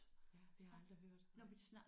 Ja det har jeg aldrig hørt nej